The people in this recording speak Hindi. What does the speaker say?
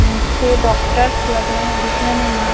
नीचे डॉक्टर्स लग रहे हैं दिखने में मा --